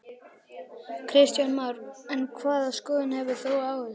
Kristján Már: En hvaða skoðun hefur þú á þessu?